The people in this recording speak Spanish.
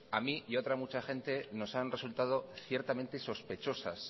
a mí y a otra mucha gente nos han resultado ciertamente sospechosas